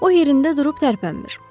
O yerində durub tərpənmir.